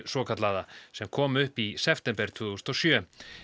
svokallaða sem kom upp í september tvö þúsund og sjö